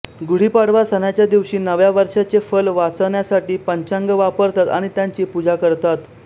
गुढीपाडवा सणाच्या दिवशी नव्या वर्षाचे फल वाचण्यासाठी पंचांग वापरतात आणि त्याची पूजा करतात